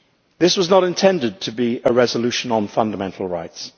This was not intended to be a resolution on fundamental rights